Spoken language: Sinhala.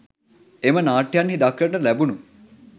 එම නාට්‍යයන්හි දක්නට ලැබුණු